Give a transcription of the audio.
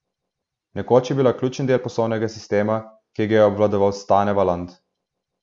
Nekoč je bila ključni del poslovnega sistema, ki ga je obvladoval Stane Valant.